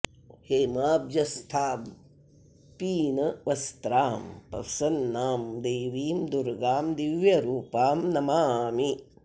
हेमाब्जस्थां पीन वस्त्रां प्रसन्नां देवीं दुर्गां दिव्यरूपां नमामि